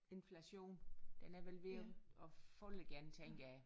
Inflation den er vel ved at falde igen tænker jeg